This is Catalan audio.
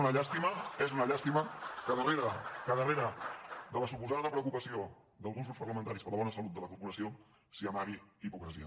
ma és una llàstima que darrere de la suposada preocupació d’alguns grups parlamentaris per la bona salut de la corporació s’hi amagui hipocresia